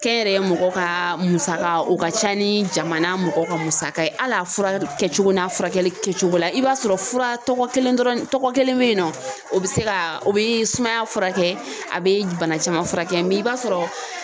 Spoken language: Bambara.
Kɛnyɛrɛye mɔgɔ kaa musaka o ka ca ni jamana mɔgɔ ka musaka ye hali a fura kɛcogo n'a furakɛli kɛcogo la i b'a sɔrɔ fura tɔgɔ kelen dɔrɔn tɔgɔ kelen bɛ yen nɔ o bɛ se ka o bɛ sumaya furakɛ a bɛ bana caman furakɛ mɛ i b'a sɔrɔ.